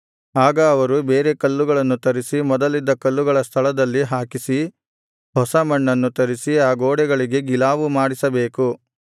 ಆಗ ಅವರು ಬೇರೆ ಕಲ್ಲುಗಳನ್ನು ತರಿಸಿ ಮೊದಲಿದ್ದ ಕಲ್ಲುಗಳ ಸ್ಥಳದಲ್ಲಿ ಹಾಕಿಸಿ ಹೊಸ ಮಣ್ಣನ್ನು ತರಿಸಿ ಆ ಗೋಡೆಗಳಿಗೆ ಗಿಲಾವು ಮಾಡಿಸಬೇಕು